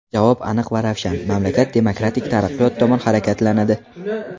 Javob aniq va ravshan mamlakat demokratik taraqqiyot tomon harakatlanadi.